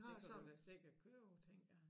Det kan du da sikkert købe tænkte jeg